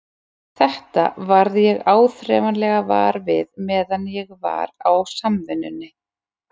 Þetta varð ég áþreifanlega var við meðan ég var á Samvinnunni.